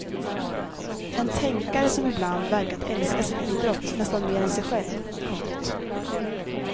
En tänkare som ibland verkat älska sin idrott nästan mer än sig själv. punkt